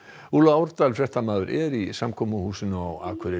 úlla Árdal fréttamaður er í samkomuhúsinu á Akureyri